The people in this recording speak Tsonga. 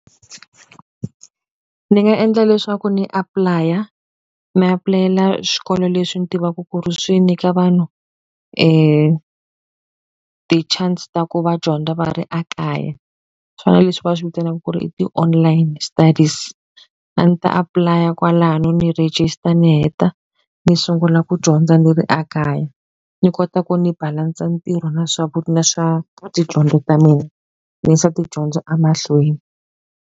Ni nga endla leswaku ni apply-a, ni apulayela swikolo leswi ni tivaka ku ri swi nyika vanhu ti-chance ta ku va dyondza va ri ekaya. Swona leswi va swi vitanaka ku ri i ti-online stadies. A ni ta apply-a kwalano, ni register, ni heta, ni sungula ku dyondza ni ri ekaya. Ni kota ku ni balance-a ntirho na swa na swa tidyondzo ta mina, ni yisa tidyondzo emahlweni.